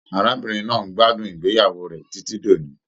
Arábìnrin náà n gbádùn ìgbéyàwó rẹ titi d'òní.